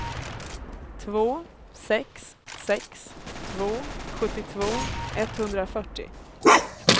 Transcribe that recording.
två sex sex två sjuttiotvå etthundrafyrtio